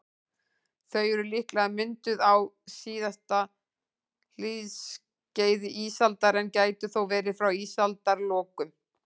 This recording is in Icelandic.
Þau eru líklega mynduð á síðasta hlýskeiði ísaldar, en gætu þó verið frá ísaldarlokum.